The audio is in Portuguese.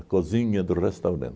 A cozinha do restaurante.